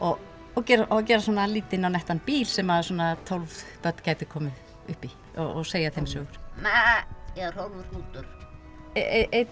og og gera og gera svona lítinn og nettan bíl sem svona tólf börn gætu komið upp í og segja þeim sögur meeeh ég er Hrólfur hrútur einn